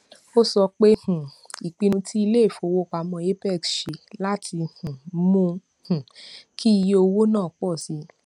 ó sọ pé um ìpinnu tí iléifowopamọ apex ṣe láti um mú um kí iye owó náà pọ sí